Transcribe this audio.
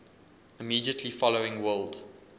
immediately following world